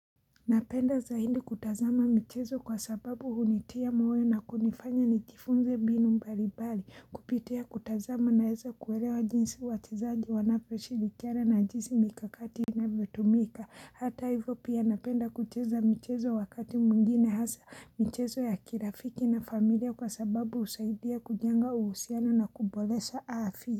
Napenda zaidi kutazama mchezo kwa sababu hunitia moyo na kunifanya nijifunze mbinu mbalimbali kupitia kutazama na naweza kuelewa jinsi wachezaji wanapo shirikiana jinsi mikakati na vinavyotu mika hata hivyo pia napenda kucheza mchezo wakati mwingine hasa mchezo ya kirafiki na familia kwa sababu husaidia kujenga uhusiano na kubolesha hadhi.